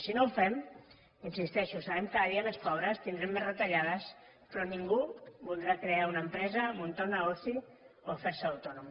si no ho fem hi insisteixo serem cada dia més pobres tindrem més retallades però ningú voldrà crear una empresa muntar un negoci o ferse autònom